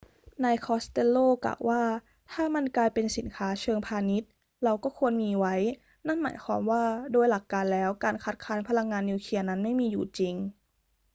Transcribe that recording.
นายคอสเตลโลกล่าวว่า ถ้ามันกลายเป็นสินค้าเชิงพาณิชย์ เราก็ควรมีไว้ นั่นหมายความว่าโดยหลักการแล้วการคัดค้านพลังงานนิวเคลียร์นั้นไม่มีอยู่จริง